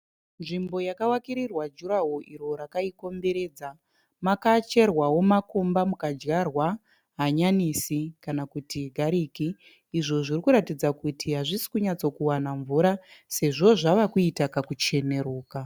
Nzvimbo yakavakirirwa jurahoro iro rakaikomberedza. Makacherwawo makomba mukadyarwa hanyanisi kana kuti gariki izvo zviri kuratidza kuti hazvisi kunyatso wana mvura sezvo zvava kuita kakuchenuruka.